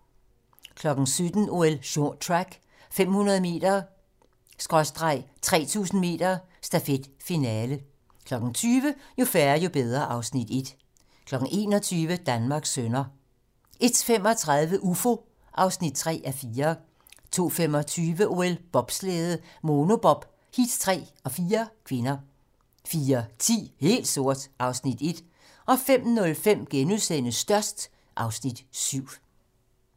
17:00: OL: Short track - 500 m/3000 m stafet - finale 20:00: Jo færre, jo bedre (Afs. 1) 21:00: Danmarks sønner 01:35: Ufo (3:4) 02:25: OL: Bobslæde - Monobob, heat 3 og 4 (k) 04:10: Helt sort (Afs. 1) 05:05: Størst (Afs. 7)*